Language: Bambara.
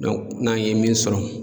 n'an ye min sɔrɔ